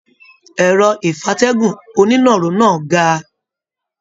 Ẹrọ ìfatẹ̀gún oninaro náà ga.